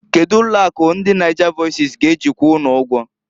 Kedu ụlọ akụ ndi Nigervoices g'eji kwụọ unu ụgwọ?